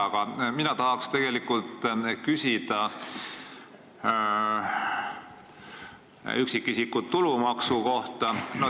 Aga mina tahan küsida üksikisiku tulumaksu kohta.